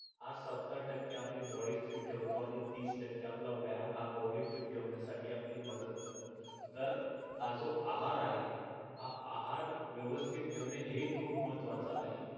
हा सत्तर टक्के आपली body fit ठेवतो आणि तीस टक्के आपला व्यायाम हा body fit ठेवण्यासाठी मदत करतो तर हा जो आहार आहे हा आहार व्यवस्थित ठेवणे हे खूप महत्वाच आहे